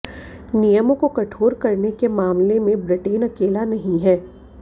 नियमों को कठोर करने के मामले में ब्रिटेन अकेला नहीं है